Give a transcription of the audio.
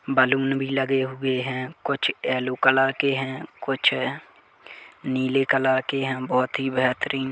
balloon भी लगे हुए है कुछ येलो कलर के है कुछ नीले कलर के है बोहोत ही बेहतरीन --